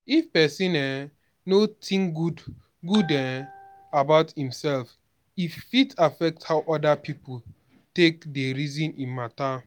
if person um no think good good um about im self e fit affect how oda pipo take dey reason im matter